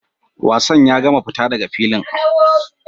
Wasan ya gama!fita daga filin!